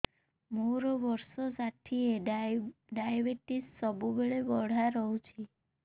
ମୋର ବର୍ଷ ଷାଠିଏ ଡାଏବେଟିସ ସବୁବେଳ ବଢ଼ା ରହୁଛି